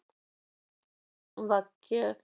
वाक्य